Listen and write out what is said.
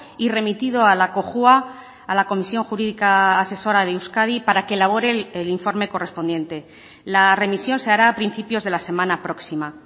y remitido a la cojua a la comisión jurídica asesora de euskadi para que elabore el informe correspondiente la remisión se hará a principios de la semana próxima